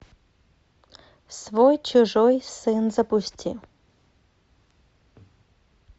свой чужой сын запусти